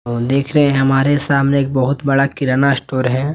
और देख रहे हैं हमारे सामने एक बहुत बड़ा किराना स्टोर है।